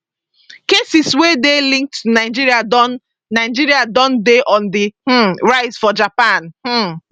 cases wey dey linked to nigeria don nigeria don dey on di um rise for japan um